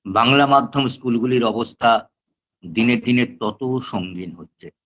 বাংলা মাধ্যম school -গুলির অবস্থা দিনে দিনে তত সঙ্গীন হচ্ছে